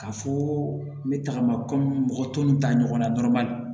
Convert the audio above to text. K'a fɔ n bɛ tagama kɔmi mɔgɔ tɔw ni ta ɲɔgɔnna dɔrɔn ma